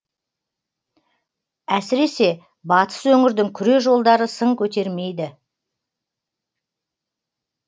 әсіресе батыс өңірдің күре жолдары сын көтермейді